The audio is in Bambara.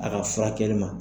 A ka furakɛli ma